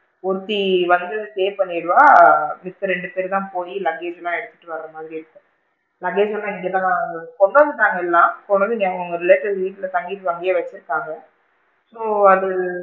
ஒருத்தி வந்து pay பண்ணிடுவா மிச்ச ரெண்டு பேரு தான் போயி luggage லா எடுத்துட்டு வர மாதிரி இருக்கும். Luggage லா இங்க தான் கொண்டு வந்துட்டாங்க எல்லாம் கொண்டு வாங்கு இங்க அவுங்க relative ல தங்கி இப்ப அங்கேயே வச்சி இருக்காங்க so அது,